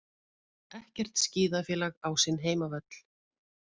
Ekkert skíðafélag á sinn heimavöll